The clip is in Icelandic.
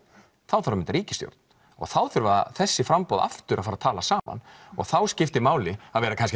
þá þarf að mynda ríkistjórn og þá þurfa þessi framboð aftur að fara að tala saman og þá skiptir máli að vera